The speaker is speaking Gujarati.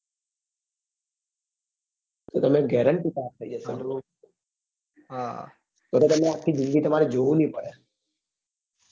તો તમે guarantee પાસ થઇ જસો તો તમે આખી જિંદગી તમારે જોવું ની પડે